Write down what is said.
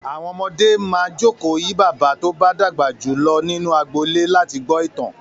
Àwọn ọmọdé máa jókòó yí bàbá tó bá dàgbà jù lọ nínú agbolé láti gbọ́ ìtàn.